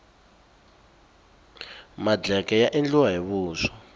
madleke ya endliwa hi vuswa